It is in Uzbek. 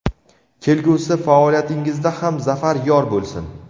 Kelgusi faoliyatingizda ham zafar yor bo‘lsin!.